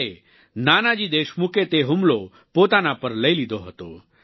ત્યારે નાનાજી દેશમુખે તે હુમલો પોતાના પર લઈ લીધો હતો